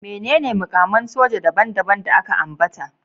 Menene mukaman soja daban-daban da aka ambata?